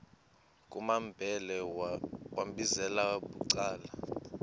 kumambhele wambizela bucala